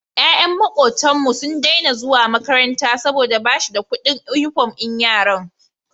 Yayan makotan mu sun Daina zuwa makaranta saboda bashida Ƙudin inufom din yaran